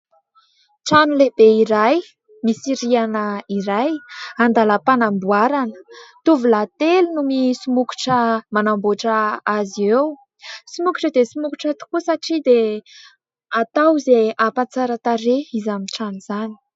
Trano lehibe iray misy rihana iray andalam-panamboarana, tovolahy telo no misomokotra manamboatra azy eo. Somokotra dia simokotra tokoa satria dia atao izay hampatsara tarehy izany trano izany.